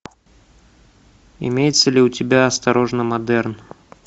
имеется ли у тебя осторожно модерн